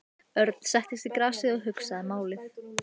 Örn settist í grasið og hugsaði málið.